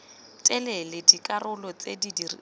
telele dikarolo tse di rileng